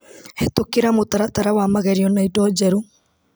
Hetũkĩra mũtaratara wa magerio na indo njerũ .